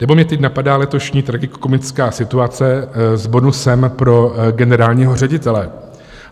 Nebo mě teď napadá letošní tragikomická situace s bonusem pro generálního ředitele.